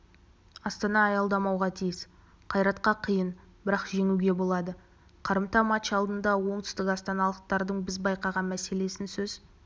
астана аялдамауға тиіс қайратқа қиын бірақ жеңуге болады қарымта матч алдында оңтүстікастаналықтардың біз байқаған мәселесін сөз